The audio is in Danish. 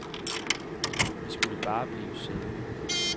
Vi skulle bare blive siddende.